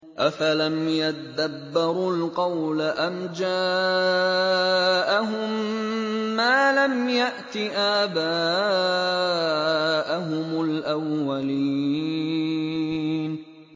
أَفَلَمْ يَدَّبَّرُوا الْقَوْلَ أَمْ جَاءَهُم مَّا لَمْ يَأْتِ آبَاءَهُمُ الْأَوَّلِينَ